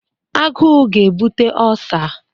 Aguu ga-ebute Ọlsa.